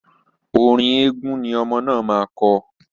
Orin eégun ni ọmọ náà máa kọ..